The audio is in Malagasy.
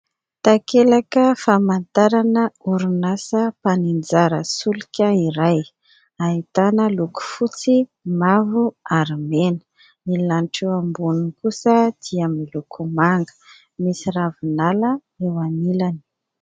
Takelaka famantarana orinasa mpaninjara solika iray. Ahitana loko fotsy, mavo ary mena. Ny lanitra eo amboniny kosa dia miloko manga. Misy ravinala eo anilany.